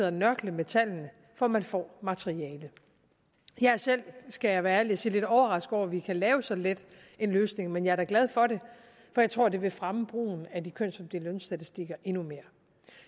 og nørkle med tallene for man får materialet jeg er selv skal jeg være ærlig og sige lidt overrasket over at vi kan lave så let en løsning men jeg er da glad for det for jeg tror at det vil fremme brugen af de kønsopdelte lønstatistikker endnu mere